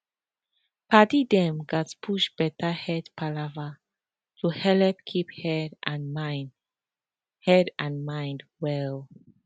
padi dem gatz push better head palava to helep keep head and mind head and mind well